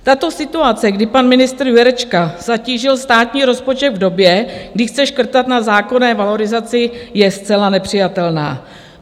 Tato situace, kdy pan ministr Jurečka zatížil státní rozpočet v době, kdy chce škrtat na zákonné valorizaci, je zcela nepřijatelná.